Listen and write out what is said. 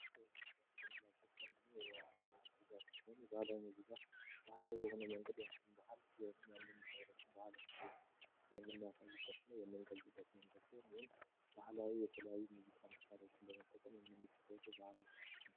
ያምከሚላችት ንድኛ የባህላዊ ምዚጋ ስን ባላዊ ዚጋ በህላይ በሆን መንግድ የንድን በሃል የህንም የንድሀበረስብ ባህል መወቡ የንሚያሳዩበት ነው የመንገልጭበት መንገድ ዜ ይሁን ባህላዊ የተለያዩ ሙዚካ መስታሪዎችን በመጠቀን የንሚትተወት በህላይ ምዚክ ም